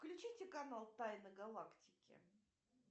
включите канал тайна галактики